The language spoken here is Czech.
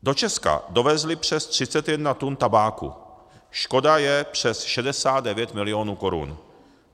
Do Česka dovezli přes 31 tun tabáku, škoda je přes 69 milionů korun.